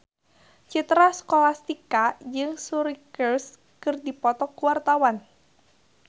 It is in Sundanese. Citra Scholastika jeung Suri Cruise keur dipoto ku wartawan